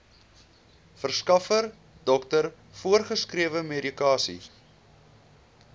verskaffer dokter voorgeskrewemedikasie